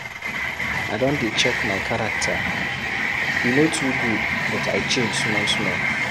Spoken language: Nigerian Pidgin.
I don dey check my character, e no too good but I change small-small.